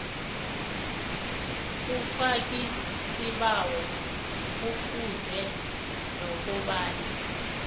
umfakisibawo kufuze nokobana